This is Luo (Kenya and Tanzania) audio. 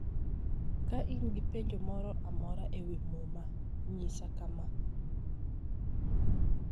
Ka in gi penjo moro amora e wi Muma, nyisa kama: